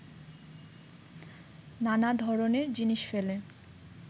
নানা ধরনের জিনিস ফেলে